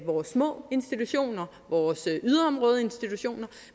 vores små institutioner vores yderområdeinstitutioner